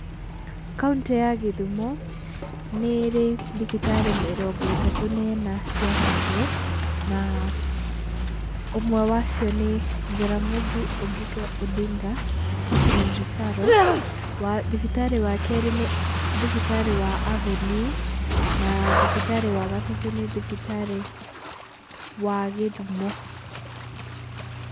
Kaũntĩ ya gĩthumo, nĩ ĩrĩ thibitarĩ mĩrongo ĩtatũ na ĩna cia kanjũ na ũmwe wa cio nĩ jaramogi oginga odinga teaching and referral, thibitari wa kerĩ nĩ thibitarĩ wa Avenue, na thibitari wa gatatu nĩ thibitari wa gĩthũmo.